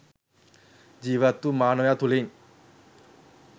ජීවත්වූ මානවයා තුළින්